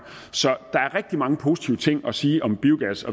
så der er rigtig mange positive ting at sige om biogas